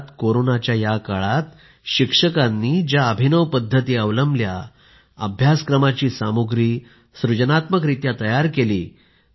देशभरात कोरोनाच्या या काळात शिक्षकांनी ज्या अभिनव पद्धती अवलंबल्या अभ्यासक्रमाची सामुग्री सृजनात्मकरित्या तयार केली